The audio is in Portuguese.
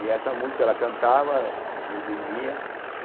E essa música ela cantava e eu dormia, né?